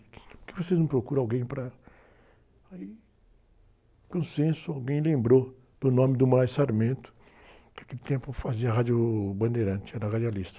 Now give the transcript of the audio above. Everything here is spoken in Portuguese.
Por que vocês não procuram alguém para... Aí, com, alguém lembrou do nome do, que naquele tempo fazia a Rádio Bandeirantes, era radialista.